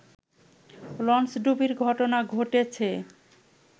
লঞ্চডুবির ঘটনা ঘটেছে